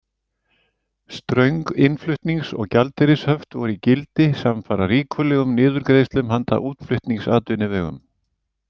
Ströng innflutnings- og gjaldeyrishöft voru í gildi samfara ríkulegum niðurgreiðslum handa útflutningsatvinnuvegum.